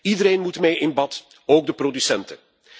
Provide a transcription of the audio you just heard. Iedereen moet mee in bad, ook de producenten.